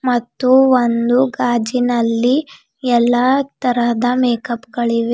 ಮತ್ತು ಒಂದು ಗಾಜಿನಲ್ಲಿ ಎಲ್ಲಾ ತರಹದ ಮೇಕಪ್ ಗಳಿವೆ--